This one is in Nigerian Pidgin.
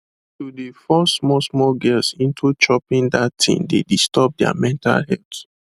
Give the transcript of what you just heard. to de force small small girls into choping that thing dey disturb their mental health